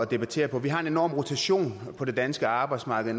debattere på vi har en enorm rotation på det danske arbejdsmarked